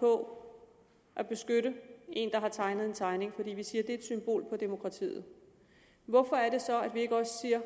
på at beskytte en der har tegnet en tegning fordi vi siger det er et symbol på demokratiet hvorfor er det så at vi ikke også siger